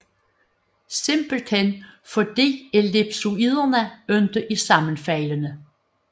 Simpelthen fordi ellipsoiderne ikke er sammenfaldende